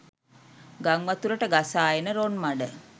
ගංවතුරට ගසා එන රොන් මඩ